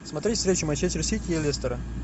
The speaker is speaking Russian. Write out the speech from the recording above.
смотреть встречу манчестер сити и лестера